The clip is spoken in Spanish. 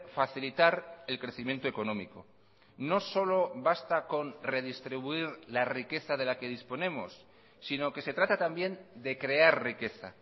facilitar el crecimiento económico no solo basta con redistribuir la riqueza de la que disponemos sino que se trata también de crear riqueza